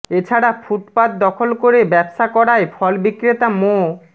এছাড়া ফুটপাত দখল করে ব্যবসা করায় ফল বিক্রেতা মো